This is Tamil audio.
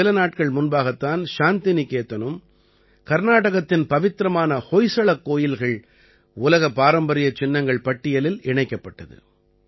சில நாட்கள் முன்பாகத் தான் சாந்திநிகேதனும் கர்நாடகத்தின் பவித்திரமான ஹொய்சளக் கோயில்கள் உலக பாரம்பரியச் சின்னங்கள் பட்டியலில் இணைக்கப்பட்டது